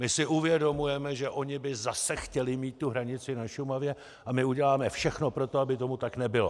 My si uvědomujeme, že oni by zase chtěli mít tu hranici na Šumavě, a my uděláme všechno pro to, aby tomu tak nebylo.